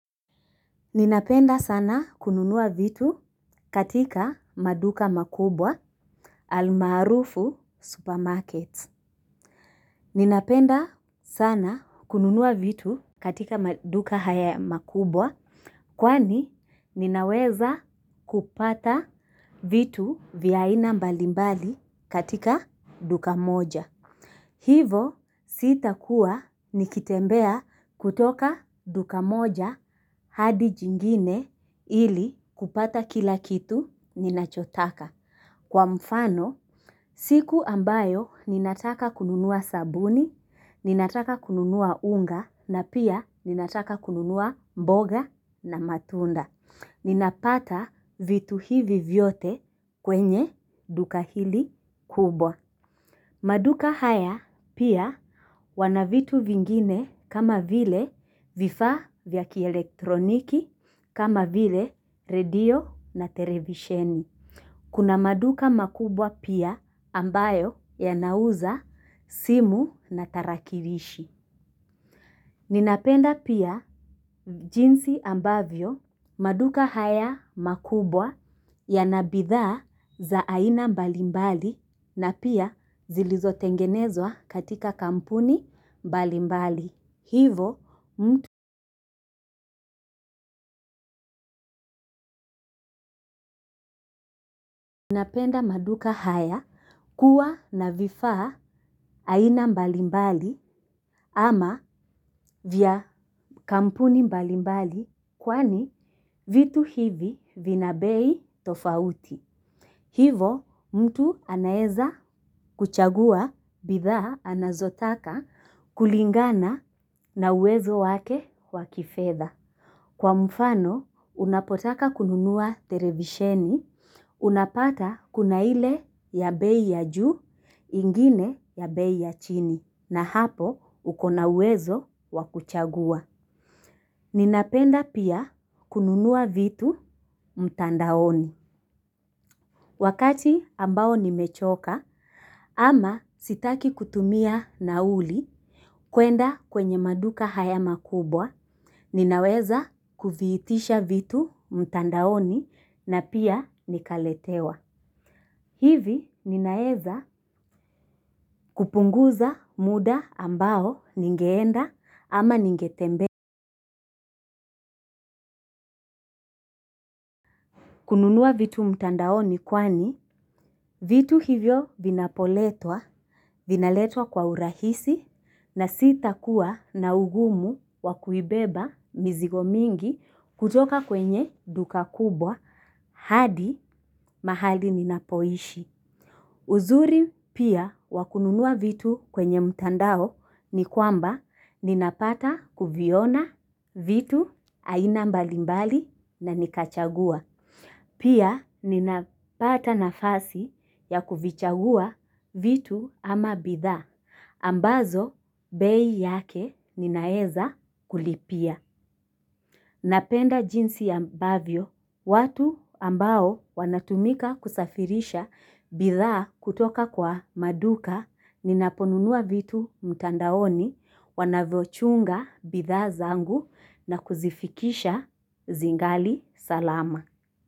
Ninapenda sana kununua vitu katika maduka makubwa almalarufu supermarkets. Ninapenda sana kununua vitu katika maduka haya makubwa kwani ninaweza kupata vitu vya ina mbalimbali katika duka moja. Hivo sitakuwa nikitembea kutoka duka moja hadi jingine ili kupata kila kitu ninachotaka. Kwa mfano siku ambayo ninataka kununua sabuni, ninataka kununua unga na pia ninataka kununua mboga na matunda. Ninapata vitu hivi vyote kwenye duka hili kubwa. Maduka haya pia wana vitu vingine kama vile vifaa vya kielektroniki kama vile radio na televisheni. Kuna maduka makubwa pia ambayo yanauza simu na tarakirishi. Ninapenda pia jinsi ambavyo maduka haya makubwa yana bidhaa za aina mbalimbali na pia zilizotengenezwa katika kampuni mbalimbali. Hivo mtu napenda maduka haya kuwa na vifaa aina mbalimbali ama vya kampuni mbalimbali kwani vitu hivi vina bei tofauti. Hivo mtu anaeza kuchagua bidhaa anazotaka kulingana na uwezo wake wa kifedha. Kwa mfano unapotaka kununua televisheni, unapata kuna ile ya bei ya juu ingine ya bei ya chini na hapo uko na uwezo wa kuchagua. Ninapenda pia kununua vitu mtandaoni. Wakati ambao nimechoka ama sitaki kutumia nauli kuenda kwenye maduka haya makubwa ninaweza kuviitisha vitu mtandaoni na pia nikaletewa. Hivi ninaeza kupunguza muda ambao ningeenda ama ningetembea. Kununua vitu mtandao ni kwani vitu hivyo vinapoletwa, vinaletwa kwa urahisi na sita kuwa na ugumu wa kuibeba mizigo mingi kutoka kwenye duka kubwa hadi mahali ninapoishi. Uzuri pia wa kununua vitu kwenye mtandao ni kwamba ninapata kuviona vitu aina mbalimbali na nikachagua. Pia ninapata nafasi ya kuvichagua vitu ama bidhaa, ambazo bei yake ninaeza kulipia. Napenda jinsi ambavyo, watu ambao wanatumika kusafirisha bidhaa kutoka kwa maduka, ninaponunua vitu mtandaoni, wanavochunga bdhaa zangu na kuzifikisha zingali salama.